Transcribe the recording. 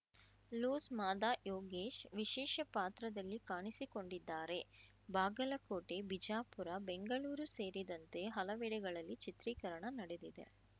loose Mada Yogesh ವಿಶೇಷ ಪಾತ್ರದಲ್ಲಿ ಕಾಣಿಸಿಕೊಂಡಿದ್ದಾರೆ ಬಾಗಲಕೋಟೆ ಬಿಜಾಪುರ ಬೆಂಗಳೂರು ಸೇರಿದಂತೆ ಹಲವೆಡೆಗಳಲ್ಲಿ ಚಿತ್ರೀಕರಣ ನಡೆದಿದೆ